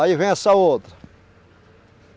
Aí vem essa outra.